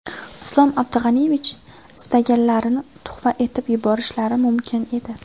Islom Abdug‘aniyevich istaganlarini tuhfa etib yuborishlari mumkin edi.